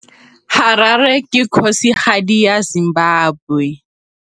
Harare ke kgosigadi ya Zimbabwe.